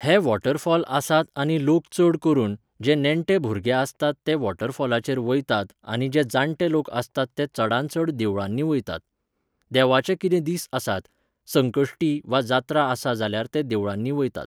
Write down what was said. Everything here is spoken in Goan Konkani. हे waterfall आसात आनी लोक चड करून, जे नेणटे भुरगे आसतात ते वॉटरफॉलाचेर वयतात आनी जे जाणटे लोक आसतात ते चडांत चड देवळांनी वयतात. देवाचे कितें दीस आसात, संकश्टी वा जात्रा आसा जाल्यार ते देवळांनी वयतात.